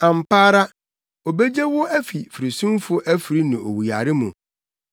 Ampa ara, obegye wo afi firisumfo afiri ne owuyare mu.